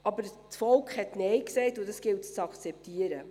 Aber das Volk hat Nein gesagt, und dies gilt es zu akzeptieren.